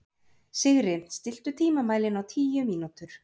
Sigri, stilltu tímamælinn á tíu mínútur.